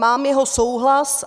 Mám jeho souhlas.